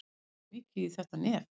Hann tók mikið í þetta nef.